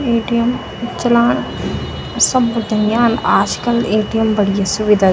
एटीएम चलाण सबूते आंद आजकल एटीएम बढ़िया सुविधा।